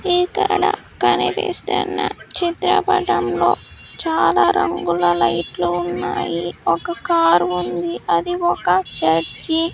ఇక్కడ కనిపిస్తున్న చిత్రపటం లో చాలా రంగుల లైట్లు ఉన్నాయి ఒక కార్ ఉంది అది ఒక చర్చి .